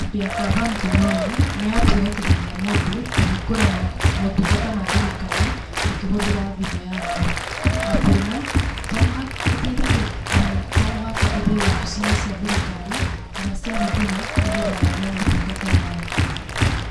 App ya Gava Mkononi, nĩ app ĩhotithagia mũndũ kũhingũra motungata ma thirikari ũkĩhũthĩra thimũ yaku, app ĩno to mũhaka, ĩteithagia amu to mũhaka ũthiĩ obici-inĩ cia thirikari, kana cia Huduma nĩgetha wone motungata maya.